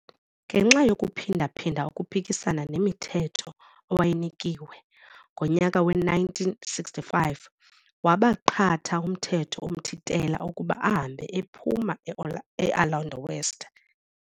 Ngenxa yokuphinda-phinda ukuphikisana nemithetho awayeyinikiwe, ngonyaka we-1965 wabaqatha umthetho omthintela ukuba ahambe aphume e-Orlando West.